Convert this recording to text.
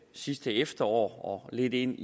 sidste efterår og lidt ind